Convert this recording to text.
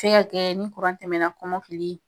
Se ka kɛ ni tɛmɛna kɔmɔkili